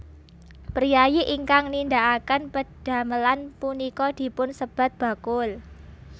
Priyayi ingkang nindhakaken pedhamelan punika dipun sebat bakul